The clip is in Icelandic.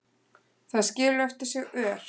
Það skilur eftir sig ör.